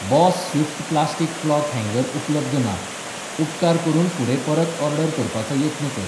Boss Swift plastic cloth हँगर उपलब्ध ना, उपकार करून फुडें परत ऑर्डर करपाचो यत्न कर.